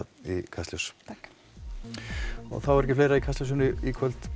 í Kastljós takk og þá er ekki fleira í Kastljósinu í kvöld